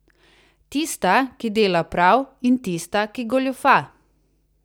Tista, ki dela prav, in tista, ki goljufa.